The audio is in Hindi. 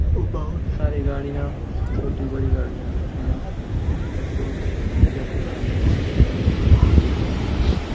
बहुत सारे गड़िया छोटी बड़ी गड़िया है यहां पेट्रोल डीजल